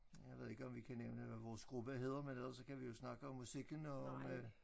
Jeg ved ikke om vi kan nævne hvad vores gruppe hedder men ellers så kan vi jo snakke om musikken og om øh